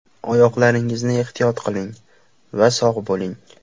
Oyoqlaringizni ehtiyot qiling va sog‘ bo‘ling!